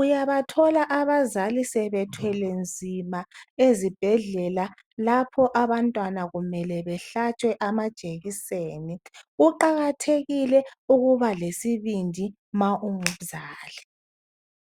Uyabathola abazali sebethwele nzima ezibhedlela lapho abantwana kumele behlatshwe amajekiseni. Kuqakathekile ukuba lesibindi ma ungumzali.